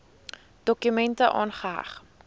dokument aangeheg